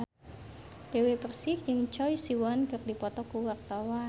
Dewi Persik jeung Choi Siwon keur dipoto ku wartawan